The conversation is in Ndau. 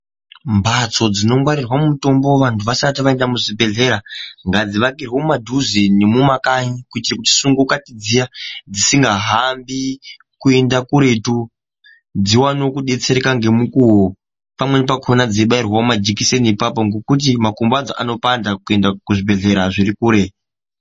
Mbatso dzinongwarirwa mutombo vantu vasati vaenda muzvibhedhlera ngadzingwarirwe mumadhuze nemumakanyi. Kuitira kuti sungo kati dziya dzisingahambi kuenda kuretu dzivanevo kubetsereka ngemukuvo. Pamweni pakona dzeibairwavo majekiseni ipapo ngekuti makumbo adzo anopanda kuenda kuzvibhedhlera zvirikure.